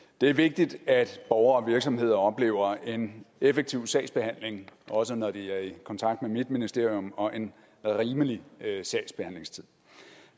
det er vigtigt at borgere og virksomheder oplever en effektiv sagsbehandling også når de er i kontakt med mit ministerium og en rimelig sagsbehandlingstid